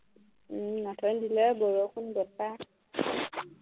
উহ অথনি দিলে বৰষুণ বতাহ